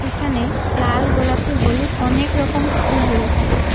এখানে লাল গোলাপী হলুদ অনেক রকম ফুল রয়েছে।